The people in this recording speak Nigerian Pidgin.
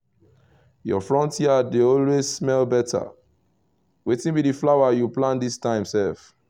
your front yard dey always smell better — wetin be the flower you plant this time sef?